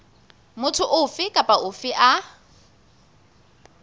motho ofe kapa ofe a